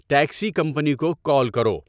taxi company کو call کرو